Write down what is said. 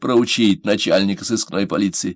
проучить начальника сыскной полиции